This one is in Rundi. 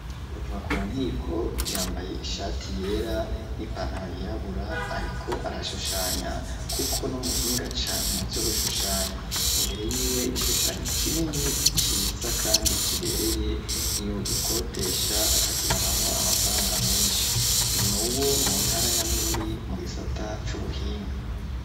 Tuvakunkiko yambaye ishati yera, n'ipantaro yirabura, ariko arashushanya, kuko n'umuhinga cane mu vyo gushushanya, imbere yiwe igishushanyo kinini ciza, kandi kibereye yo gikotesha akakironkamo amafaranga menshi, nuwo mu ntara ya Bururi mu gisata c'ubuhinga.